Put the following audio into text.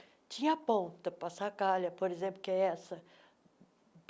Tinha a ponta, Passacaglia, por exemplo, que é essa.